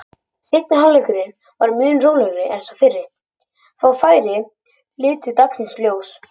Seinni hálfleikurinn var mun rólegri en sá fyrri, fá færi litu dagsins ljós.